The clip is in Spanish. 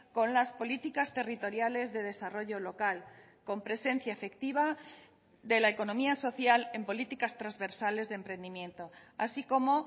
con las políticas territoriales de desarrollo local con presencia efectiva de la economía social en políticas transversales de emprendimiento así como